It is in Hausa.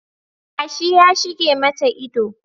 Yashi ya shige mata idanu